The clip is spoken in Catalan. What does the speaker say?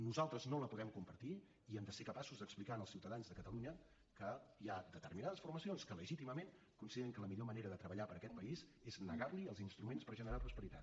nosaltres no la podem compartir i hem de ser capaços d’explicar als ciutadans de catalunya que hi ha determinades formacions que legítimament consideren que la millor manera de treballar per a aquest país és negar li els instruments per generar prosperitat